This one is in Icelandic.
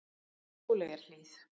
Sóleyjarhlíð